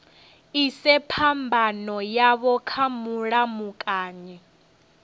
ise phambano yavho kha mulamukanyi